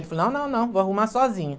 Ele falou, não, não, não, vou arrumar sozinho.